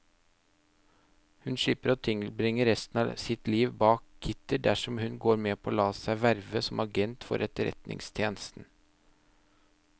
Hun slipper å tilbringe resten av sitt liv bak gitter dersom hun går med på å la seg verve som agent for etterretningstjenesten.